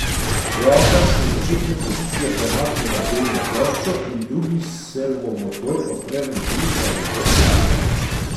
Roka se z začetne pozicije premakne nad grelno ploščo in drugi servomotor odpre ventil za dotok mase.